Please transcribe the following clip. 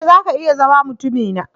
E! zaka iya zama mutumina.